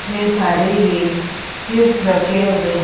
इतने सारे ये क्यूब्स रखे हुए हैं।